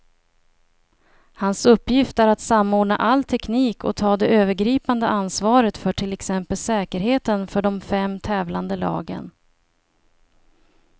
Hans uppgift är att samordna all teknik och ta det övergripande ansvaret för till exempel säkerheten för de fem tävlande lagen.